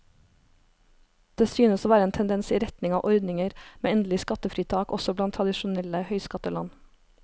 Det synes å være en tendens i retning av ordninger med endelig skattefritak også blant tradisjonelle høyskatteland.